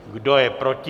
Kdo je proti?